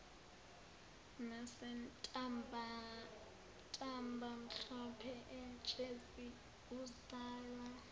nasentabamhlophe emtshezi uzalwa